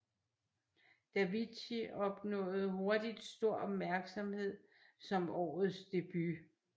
Davichi opnåede hurtigt stor opmærksomhed som årets debut